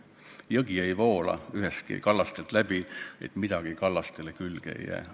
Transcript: Jõgi ei voola kallastest läbi, ilma et midagi kallaste külge ei jääks.